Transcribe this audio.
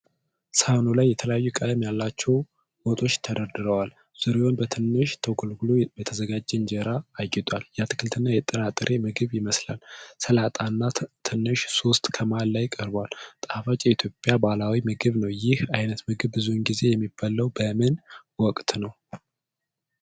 ሣህኑ ላይ የተለያየ ቀለም ያላቸው ወጦች ተደርድረዋል። ዙሪያውን በትንሽ ተጎልጉሎ በተዘጋጀ እንጀራ አጊጧል። የአትክልትና የጥራጥሬ ምግብ ይመስላል። ሰላጣና ትንሽ ሶስ ከመሃል ላይ ቀርቧል። ጣፋጭ የኢትዮጵያ ባህላዊ ምግብ ነው። ይህ ዓይነት ምግብ ብዙውን ጊዜ የሚበላው በምን ወቅት ነው?